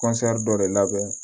dɔ de labɛn